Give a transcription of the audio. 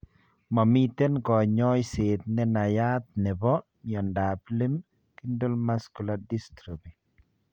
Momiten konyoisiet ne nayat nepo miondap Limb girdle muscular dystrophy?